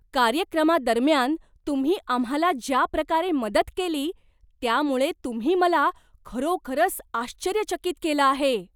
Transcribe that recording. कार्यक्रमादरम्यान तुम्ही आम्हाला ज्या प्रकारे मदत केली त्यामुळे तुम्ही मला खरोखरच आश्चर्यचकित केलं आहे!